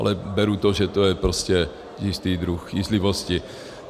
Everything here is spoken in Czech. Ale beru to, že to je prostě jistý druh jízlivosti.